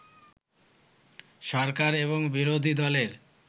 সরকার এবং বিরোধী দলের